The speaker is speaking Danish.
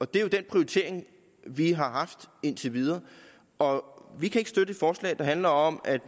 det er jo den prioritering vi har haft indtil videre og vi kan ikke støtte et forslag der handler om at